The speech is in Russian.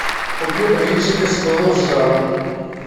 купи блинчики с пылу с жару